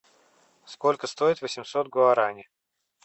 сколько стоит восемьсот гуарани